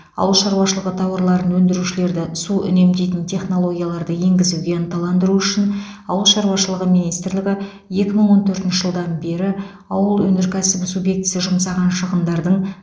ауыл шаруашылығы тауарларын өндірушілерді су үнемдейтін технологияларды енгізуге ынталандыру үшін ауыл шаруашылығы министрлігі екі мың он төртінші жылдан бері ауыл өнеркәсібі субъектісі жұмсаған шығындардың